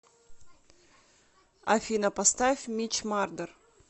афина поставь митч мардер